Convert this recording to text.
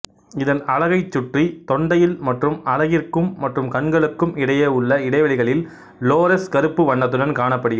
இதன் அலகைச் சுற்றி தொண்டையில் மற்றும் அலகிற்கும் மற்றும் கண்களுக்கும் இடையே உள்ள இடைவெளிகளில் லோரெஸ் கருப்பு வண்ணத்துடன் காணப்படுகிறது